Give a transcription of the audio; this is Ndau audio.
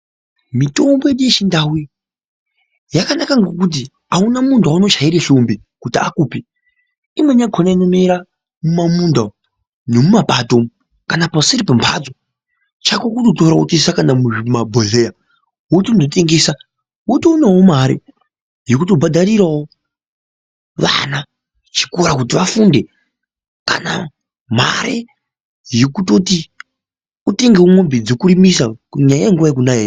Mitombo yedu yechindau iyi yakanaka ngekuti auna muntu waunochaire hlombe kuti akupe. Imweni yakona inomera mumamunda umu nemumapato umu kana paseri pembatso chako kutotora wotoisa kana muzvimabhodhlera wotondotengesa wotowanawo mare yekutobhadharirawo vana chikora kuti vafunde kana mare yekutoti utengewo mombe dzekurimisa kunyanya nguwa yekunaya.